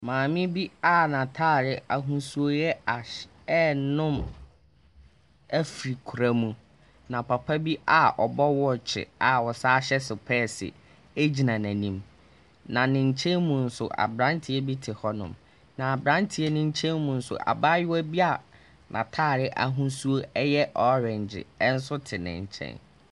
Maame bi a n'atare ahosuo yɛ ash renom afiri koraa mu, na papa bi a ɔbɔ wɔɔkye a ɔsan hyɛ sopɛɛse gyina n'anim, na ne nkyɛn mu nso, aberanteɛ bi te hɔnom, na aberanteɛ no nkyɛn mu nso abayewa bi a n'atare ahosuo yɛ orange nso te ne nkyɛn.